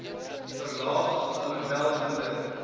verlaag alhoewel minder